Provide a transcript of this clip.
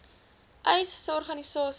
uys sê organisasies